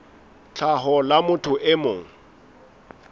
tlhaho la motho e mong